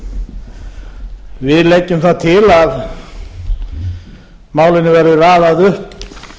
á við leggjum það til að málinu verði raðað upp